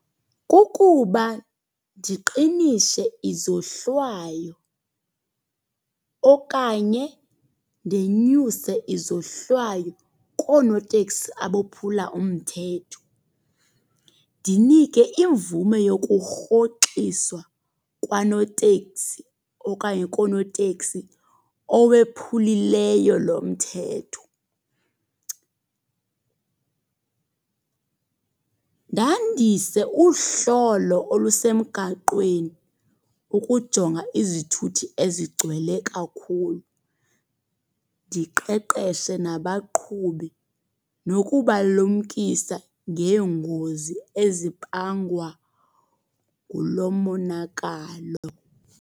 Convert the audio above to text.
Kukuba ndiqinise izohlwayo okanye ndenyuse izohlwayo koonoteksi abophula umthetho. Ndinike imvume yokurhoxiswa kwanoteksi okanye koonoteksi owephulileyo lo mthetho. Ndandise uhlolo olusemgaqweni ukujonga izithuthi ezigcwele kakhulu. Ndiqeqeshe nabaqhubi nokubalumkisa ngeengozi ezibangwa ngulo monakalo.